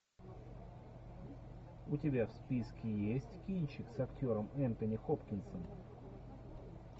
у тебя в списке есть кинчик с актером энтони хопкинсом